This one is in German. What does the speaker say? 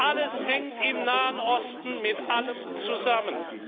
Alles hängt im Nahen Osten mit allem zusammen.